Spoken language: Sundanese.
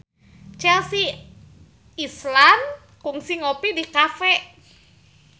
Chelsea Islan kungsi ngopi di cafe